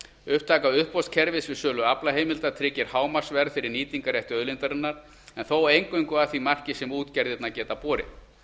upptaka uppboðskerfis við sölu aflaheimilda tryggir hámarksverð fyrir nýtingarrétt auðlindarinnar en þó eingöngu að því marki sem útgerðirnar geta borið